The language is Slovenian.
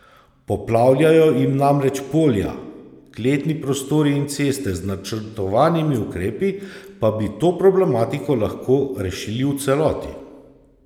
Poplavljajo jim namreč polja, kletni prostori in ceste, z načrtovanimi ukrepi pa bi to problematiko lahko rešili v celoti.